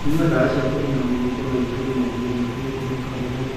Kũnyua ndawa cia kũnina mũnungo no itũme mũthugumo matige kũnunga mũno